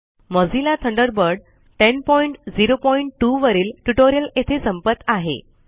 Mozilla Thunderbird 1002 वरील tutorial येथे संपत आहे